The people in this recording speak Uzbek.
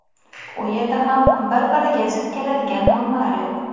U yerda ham bir-biriga zid keladigan normalar yo‘q.